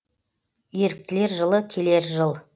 еріктілер жылы келер жыл